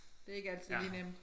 Det ikke altid lige nemt